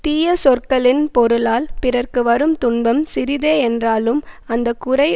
தீய சொற்களின் பொருளால் பிறர்க்கு வரும் துன்பம் சிறிதே என்றாலும் அந்த குறை